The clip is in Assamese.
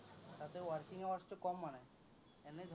তাতে working hours টো কম মানে, এনেই